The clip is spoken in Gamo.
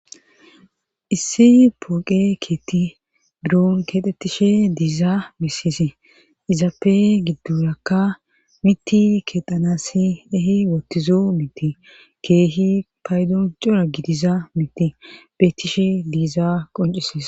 issi pooqe keetti buroon keexettishe diiza misise izappe giddurakka mitti kexanasi ehi woottizo mitti keehi paydon cora gidiza miti beettishe diiza qoncises